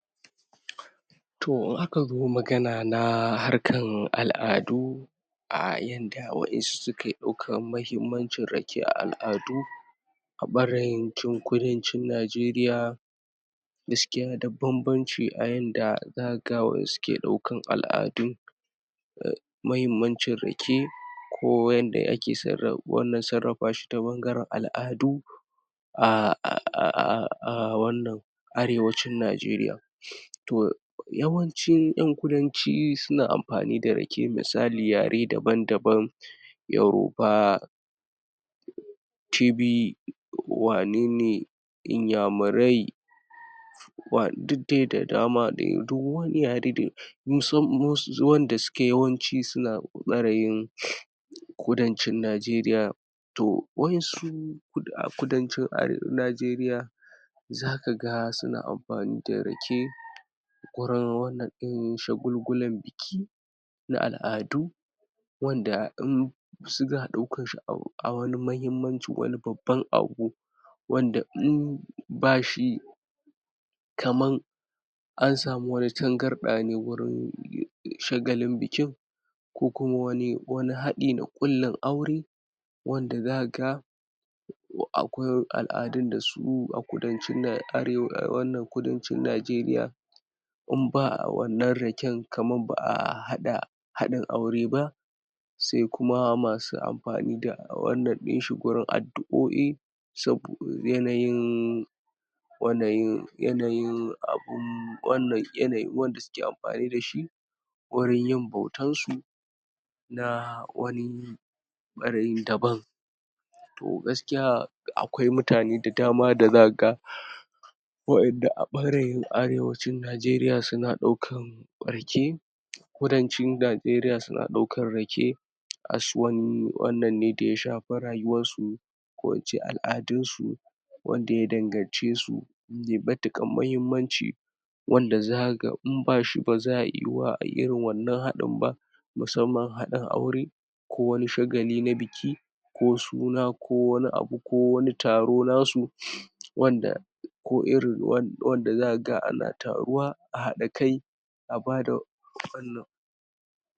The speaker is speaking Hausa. to in aka zo magana na harkan al'adu um yanda wayansu suke daukan muhimmancin rake a al'adu a kudan cin najeriya gaskiya da banbanci ayanda zaka ga wayansu ke daukan al'adun muhimmancin rake ko yanda ake sasra wannan sarrafa shi ta bangaran al'adu um um um wannan arewacin najeriya to yawanci yan kudanci suna amfani da rake misali yare daban daban yaroba um cibi wanene inya murai wa duk dai da dama dai duk wani yare wanda suke yawanci suna barayin kudancin najeriya to wayansu a um kudancin um najeriya zaka ga suna amfani da rake gurin wannan din shagulgulan biki na al'adu wanda in suna daukan shi a wani muhimmancin wani babban abu wanda um bashi kaman an samu wani tangarda ne wurin um shagalin bikin ko kuma wani hadi na kullin aure wanda zaka ga akwai al'adun da su a kudan cin um nije a arewa kudancin nigeriya in ba wannan raken kamar ba'a hada hadin aure ba sai kuma masu amfani da wannan dinshi gurin adu'o'i sabo yanayin wanayin abun wanda suke amfani dashi wurin yin bautansu na um wani um barayin daban to gaskiya akwai mutane da dama da zaka ga wa'inda a barayin arewacin najeriya suna daukan rake kudancin najeriya suna daukan rake wannan ne da ya shafi rayuwansu ko ince al'adunsu wanda ya dangan cesu mai matukar muhimman ci wanda zaka ga in bashi baza'a iya yuwuwa ayi irin wannan hadin ban musamman hadin aure ko wani shagali na biki ko suna ko wani abu ko wani taro nasu wanda ko irin wanda zaka ga ana taruwa ahada kai a bada wannan